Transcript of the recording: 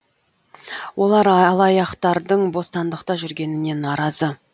олар алаяқтардың бостандықта жүргеніне наразы